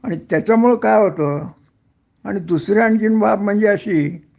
आणि त्याच्यामुळं काय होत आणि दुसरी आणखीन बाब म्हणजे अशी